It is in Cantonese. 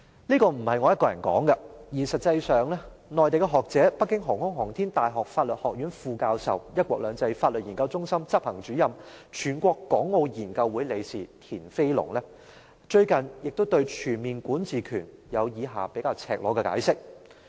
這不是我一個人說的，實際上，內地學者北京航空航天大學法學院副教授、"一國兩制"法律研究中心執行主任、全國港澳研究會理事田飛龍，最近亦對全面管治權有以下比較赤裸的解釋。